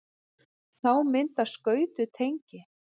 þá myndast skautuð tengi